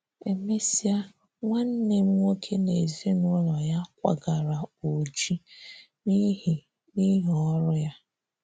Emesịa, nwanne m nwoke na ezinụlọ ya kwagara Oji n’ihi n’ihi ọrụ ya.